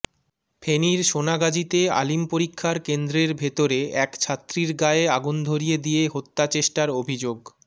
ফেনীর সোনাগাজীতে আলিম পরীক্ষার কেন্দ্রের ভেতরে এক ছাত্রীর গায়ে আগুন ধরিয়ে দিয়ে হত্যাচেষ্টার অভিযোগ